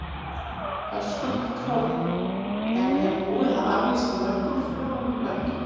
Höskuldur Kári: En er búið að aflýsa mörgum flugum í kvöld?